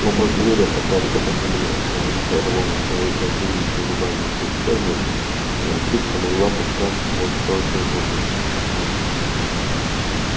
оба зверя катались по земле рысь рвала свою противницу зубами и когтями а волчица могла пускать в ход только зубы